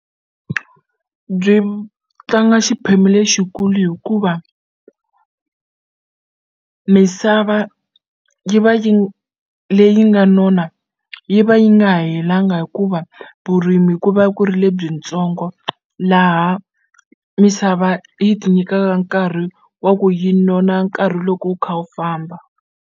Byi tlanga xiphemu lexikulu hikuva misava yi va yi leyi nga nona yi va yi nga helanga hikuva vurimi ku va ku ri lebyintsongo laha misava yi ti nyikaka nkarhi wa ku yi nona nkarhi loko wu kha wu famba.